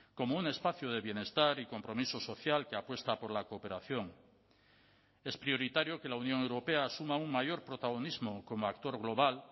como un espacio de bienestar y compromiso social que apuesta por la cooperación es prioritario que la unión europea asuma un mayor protagonismo como actor global